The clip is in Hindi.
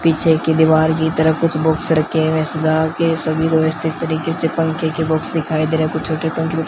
पीछे की दीवार की तरह कुछ बॉक्स रखे हुए सजा के सभी रॉयस्टिक तरीके से पंखे के बॉक्स दिखाई दे रहा है कुछ छोटे पंखे --